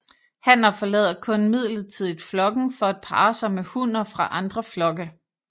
Hanner forlader kun midlertidigt flokken for at parre sig med hunner fra andre flokke